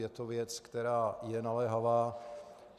Je to věc, která je naléhavá.